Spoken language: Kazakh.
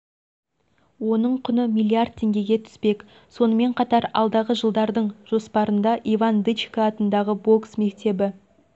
оның құны миллиард теңгеге түспек сонымен қатар алдағы жылдардың жоспарында иван дычко атындағы бокс мектебі